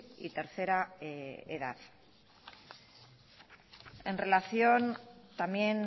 y tercera edad en relación también